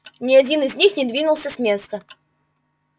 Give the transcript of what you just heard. ни один из них не двинулся с места